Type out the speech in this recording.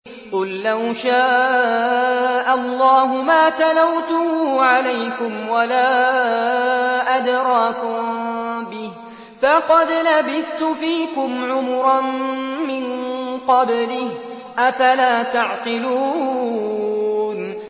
قُل لَّوْ شَاءَ اللَّهُ مَا تَلَوْتُهُ عَلَيْكُمْ وَلَا أَدْرَاكُم بِهِ ۖ فَقَدْ لَبِثْتُ فِيكُمْ عُمُرًا مِّن قَبْلِهِ ۚ أَفَلَا تَعْقِلُونَ